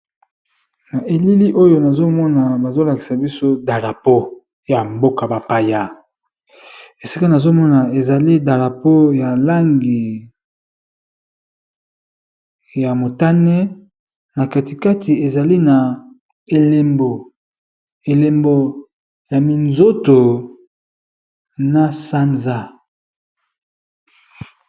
Na elili oyo nazo mona bazo lakisa biso dalapo ya mboka bapaya, esika nazo mona ezali dalapo ya langi ya motane na kati kati ezali na elembo. Elembo ya minzoto, na sanza.